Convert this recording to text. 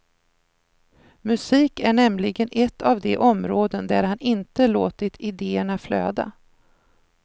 Musik är nämligen ett av de områden där han inte låtit ideerna flöda.